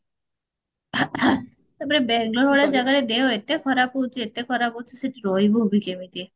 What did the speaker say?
ମାନେ ବାଙ୍ଗଲୋରେ ଭଳିଆ ଜାଗାରେ ଦେହ ଏତେ ଖରାପ ହଉଚି ଏତେ ଖରାପ ହଉଚି ସେଠି ରହିବୁ ବି କେମିତି